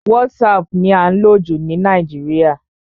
WhatsApp ni à ń lò jù ní Nàìjíríà.